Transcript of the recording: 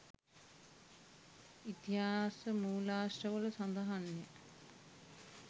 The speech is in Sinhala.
ඉතිහාස මූලාශ්‍රවල සඳහන්ය.